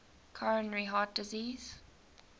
coronary heart disease